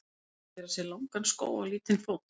Að gera sér langan skó á lítinn fót